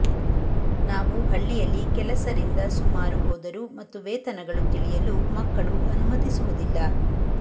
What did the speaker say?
ನಾವು ಹಳ್ಳಿಯಲ್ಲಿ ಕೆಲಸ ರಿಂದ ಸುಮಾರು ಹೋದರು ಮತ್ತು ವೇತನಗಳು ತಿಳಿಯಲು ಮಕ್ಕಳು ಅನುಮತಿಸುವುದಿಲ್ಲ